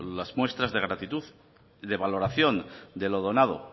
las muestras de gratitud y de valoración de lo donado